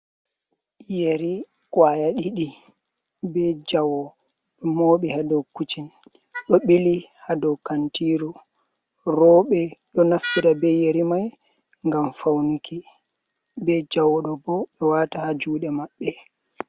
Yeri kawaya ɗiɗi, ɓe jawo, ɗo moɓɓi ha ɗow kucin.ɗo ɓili ha ɗow kantiru. Roɓe ɗo naffida be yeri mai ngam faunki. Ɓe jawo ɗo ɓo, ɓe wata ha juɗe maɓɓe.